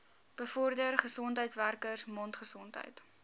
bevorder gesondheidswerkers mondgesondheid